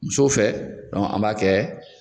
Musow fɛ dɔn an b'a kɛ